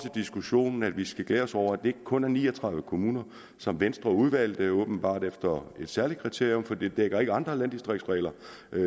diskussion at vi skal glæde os over at det ikke kun er de ni og tredive kommuner som venstre udvalgte og åbenbart efter et særligt kriterium for det dækker ikke andre landdistriktsregler